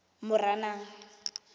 moranang